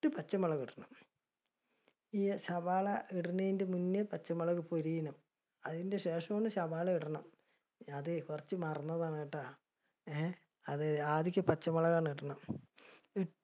എട്ട് പച്ചമുളക് ഇടണം. ഈ സവാള ഇടുന്നതിന്റെ മുന്നേ പച്ചമുളക് . അതിന് ശേഷമാണ് സവാള ഇടണം. അതെ കുറച്ച് മറന്നതാണട്ട. ഏർ അത് ആദികെ പച്ചമുളകാണ് ഇടണം.